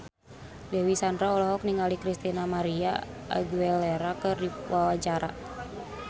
Dewi Sandra olohok ningali Christina María Aguilera keur diwawancara